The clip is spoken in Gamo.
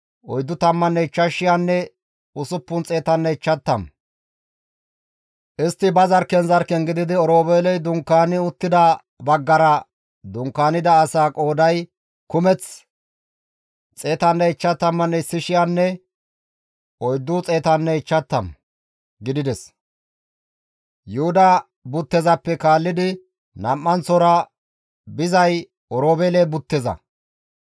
Istti ba zarkken zarkken gididi Oroobeeley dunkaani uttida baggara dunkaanida asaa qooday kumeth 151,450 gidides; Yuhuda buttezappe kaallidi nam7anththora bizay Oroobeele butteza.